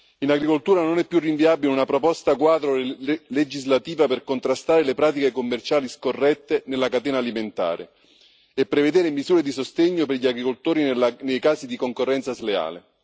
In agricoltura non è più rinviabile una proposta quadro legislativa per contrastare le pratiche commerciali scorrette nella catena alimentare e prevedere misure di sostegno per gli agricoltori nei casi di concorrenza sleale.